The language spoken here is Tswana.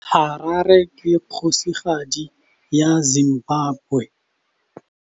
Harare ke kgosigadi ya Zimbabwe.